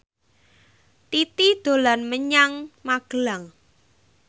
Titi dolan menyang Magelang